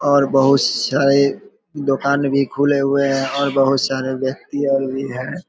और बहुत सारे दोकान भी खुले हुए है और बहुत सारे व्यत्कि और भी हैं।